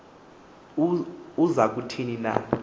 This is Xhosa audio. uza kuthini na